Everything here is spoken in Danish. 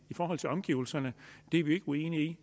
i forhold til omgivelserne er vi ikke uenige